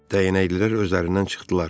Dəyənəklilər özlərindən çıxdılar.